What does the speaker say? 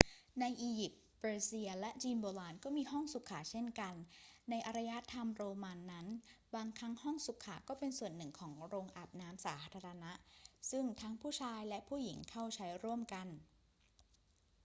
ในอียิปต์ เปอร์เซีย และจีนโบราณก็มีห้องสุขาเช่นกัน ในอารยธรรมโรมันนั้น บางครั้งห้องสุขาก็เป็นส่วนหนึ่งของโรงอาบน้ำสาธารณะซึ่งทั้งผู้ชายและผู้หญิงเข้าใช้ร่วมกัน